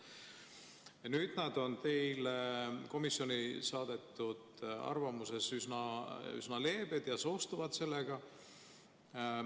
Ja nüüd nad on teile komisjoni saadetud arvamuses üsna leebed ja soostuvad sellega.